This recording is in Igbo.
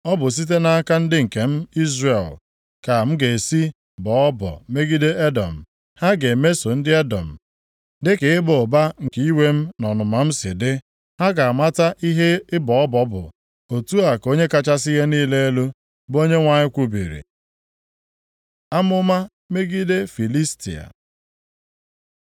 Ọ bụ site nʼaka ndị nke m Izrel ka m ga-esi bọọ ọbọ megide Edọm, ha ga-emeso ndị Edọm dịka ịba ụba nke iwe m na ọnụma m si dị, ha ga-amata ihe ịbọ ọbọ bụ, otu a ka Onye kachasị ihe niile elu, bụ Onyenwe anyị kwubiri.’ ” Amụma megide Filistia